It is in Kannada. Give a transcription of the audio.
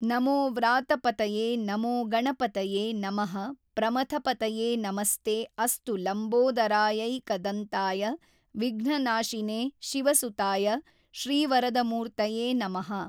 ನಮೋ ವ್ರಾತಪತಯೇ ನಮೋ ಗಣಪತಯೇ ನಮಃ ಪ್ರಮಥಪತಯೇ ನಮಸ್ತೇ ಅಸ್ತು ಲಂಬೋದರಾಯೈಕದಂತಾಯ ವಿಘ್ನನಾಶಿನೇ ಶಿವಸುತಾಯ ಶ್ರೀವರದಮೂರ್ತಯೇ ನಮಃ।